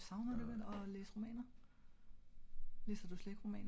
Men savner du ikke lidt at læse romaner?